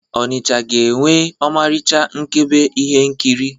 Ọnịcha ga-enwe ọmarịcha nkebi ihe nkiri.